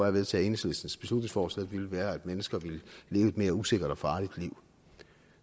at vedtage enhedslistens beslutningsforslag ville være at mennesker ville leve et mere usikkert og farligt liv